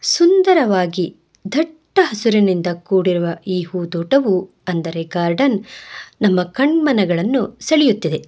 ಸುಂದರವಾಗಿ ದಟ್ಟ ಹಸಿರಿನಿಂದ ಕುಡಿರುವ ಈ ಹೂ ದೋಟವು ಅಂದರೆ ಗಾರ್ಡನ್ ನಮ್ಮ ಕಣ್ಮನಗಳನ್ನು ಸೆಳೆಯುತ್ತಿದೆ.